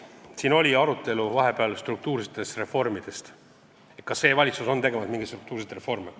Siin oli vahepeal arutelu struktuursete reformide üle, et kas see valitsus teeb mingeid struktuurseid reforme.